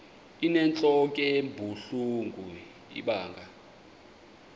inentlok ebuhlungu ibanga